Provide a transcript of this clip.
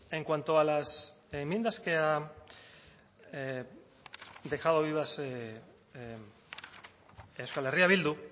en cuanto a las enmiendas que ha dejado vivas euskal herria bildu